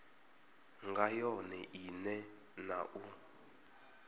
nga yone ine na u